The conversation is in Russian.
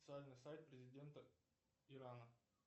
официальный сайт президента ирана